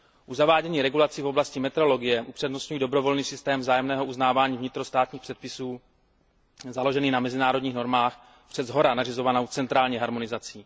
U zavádění regulací v oblasti metrologie upřednostňuji dobrovolný systém vzájemného uznávání vnitrostátních předpisů založený na mezinárodních normách před shora nařizovanou centrální harmonizací.